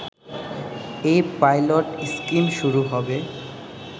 এই pilot scheme শুরু হবে